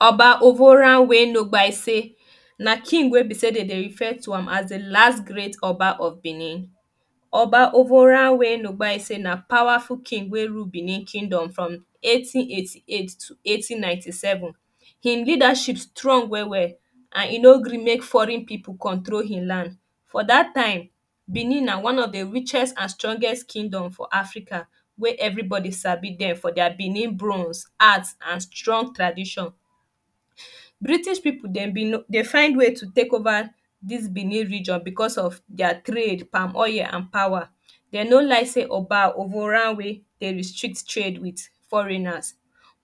oba ovonramwen no gbase na king wey be sey dem dey refer to as di last great oba of benin oba ovonramwen no gbase na powerful king wey rule benin kingdom from eighteen eighty eight to eighteen ninety seven im leadership strong well well and e no gree make foreign people control im land for dat time benin na one of richest and strongest kingdom for africa wey everybody sabi dem for their benin bronze art and strong tradition british people dem bin no dey find way to take over dis benin region bcos of their trade palm oil and power e no like sey oba ovonramwen de restrict trade with foreigners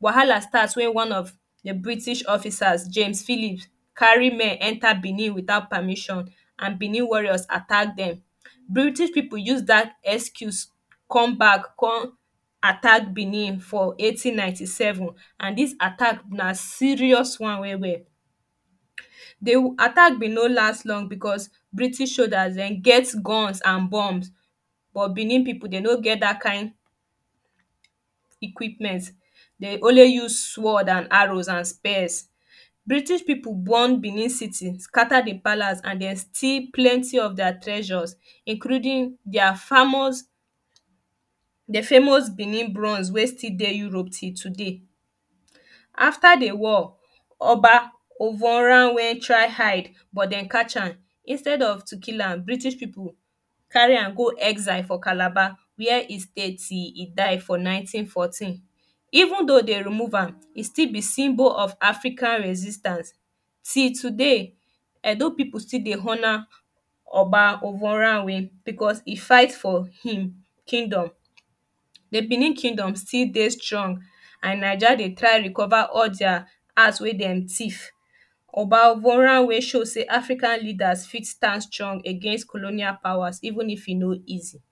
wahala starts wen one of de british officer james philip carri men enta benin witout permission and benin warriors attack dem british people use dat excuse come back come attack benin for eighteen ninety seven and dis attack na serious one well well de attack bin no last long bcos british soldiers dem get guns and bombs but benin people dem no get dat kind equipments dey only use swords and arrows and spears british people burn benin city scatter di palace and dem steal plenty of their treasures including their famous di famous benin bronze wey still dey europe till today afta de war oba ovonramwen try hide but dem catch am instead of to kill am british people carry am go exile for calabar wey he stay till he died for ninteen fourteen even though dey remove am it is still de symbol of african resistance till today edo people still dey honour oba ovonramwen bcos he fights for im kingdom de benin kingdom still dey strong and naija dey try recover all their arts wey dem thief oba ovonramwen show sey african leaders fit stand strong against colonial powers even if e no easi